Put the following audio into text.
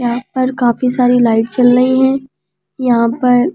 यहां पर काफी सारी लाइट चल रही है यहां पर--